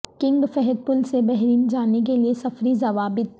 king Fahd پل سے Bahrain جانے کے لیے سفری ضوابط